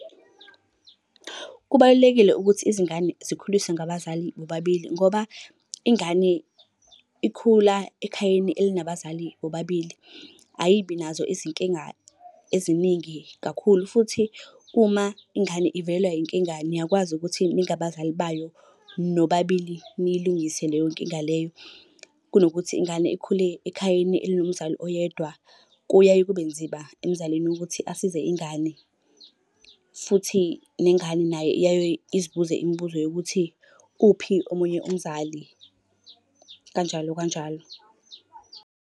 Kubalulekile ukuthi izingane zikhuliswe ngabazali bobabili ngoba ingane ikhula ekhayeni elinabazali bobabili ayibi nazo izinkinga eziningi kakhulu. Futhi, uma ingane ivelelwa inkinga niyakwazi ukuthi ningabazali bayo nobabili niyilungise leyo nkinga leyo. Kunokuthi ingane ikhule ekhayeni elinomzali oyedwa, kuyaye kube nzima emzalini ukuthi asize ingane, futhi nengane nayo iyaye izibuze imibuzo yokuthi uphi omunye umzali kanjalo kanjalo.